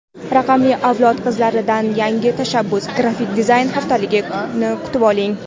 "Raqamli avlod qizlari"dan yangi tashabbus- Grafik dizayn haftaligini kutib oling!.